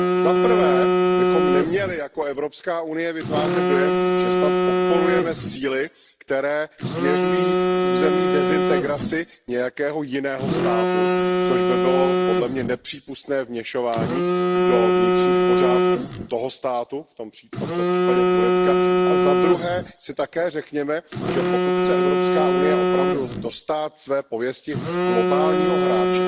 Zaprvé bychom neměli jako Evropská unie vytvářet dojem, že snad podporujeme síly, které směřují k územní dezintegraci nějakého jiného státu, což by bylo podle mě nepřípustné vměšování do vnitřních pořádků toho státu. V tomto případě Turecka. A zadruhé si také řekněme, že pokud chce Evropská unie opravdu dostát své pověsti globálního hráče,